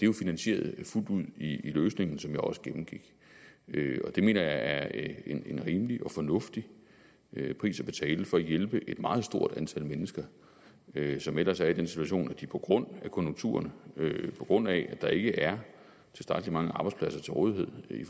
jo finansieret fuldt ud i løsningen som jeg også gennemgik det mener jeg er en en rimelig og fornuftig pris at betale for at hjælpe et meget stort antal mennesker som ellers er i den situation at de på grund af konjunkturerne på grund af at der ikke er tilstrækkelig mange arbejdspladser til rådighed i